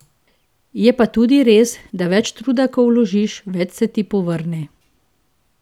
Je pa tudi res, da več truda ko vložiš, več se ti povrne.